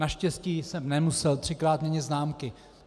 Naštěstí jsem nemusel třikrát měnit zámky.